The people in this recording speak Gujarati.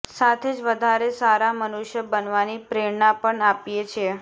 સાથે જ વધારે સારા મનુષ્ય બનવાની પ્રેરણા પણ આપીએ છીએ